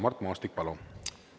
Mart Maastik, palun!